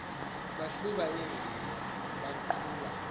bahluba iingubo baquba